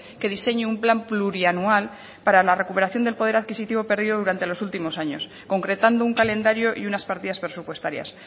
que diseñe un plan plurianual para la recuperación del poder adquisitivo perdido durante los últimos años concretando un calendario y unas partidas presupuestarias